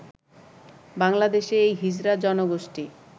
বাংলাদেশে এই হিজড়া জনগোষ্ঠী